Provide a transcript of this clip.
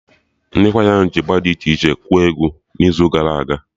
Ndị kwaya ahụ ji Ịgba d iche iche kụọ egwu n'izu gara aga